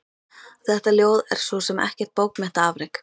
Þetta ljóð er svo sem ekkert bókmenntaafrek.